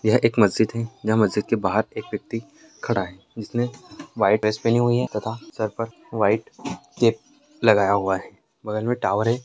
यह एक मस्जिद हैंयह मस्जिद के बाहर एक व्यक्ति खड़ा है जिसने व्हाइट ड्रेस पहनी हुई है तथा सर पर व्हाइट केप लगाया हुआ है बगल में टॉवर है।